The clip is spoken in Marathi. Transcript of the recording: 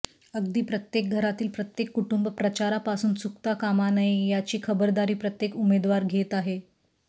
अगदी प्रत्येक घरातील प्रत्येक कुटुंब प्रचारापासून चुकता कामा नये याची खबरदारी प्रत्येक उमेदवार घेत आहे